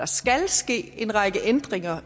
skal ske en række ændringer